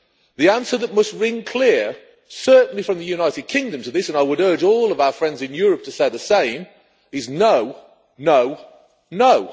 The answer that must ring clear, certainly from the United Kingdom, to this and I would urge all of our friends in Europe to say the same is no, no, no.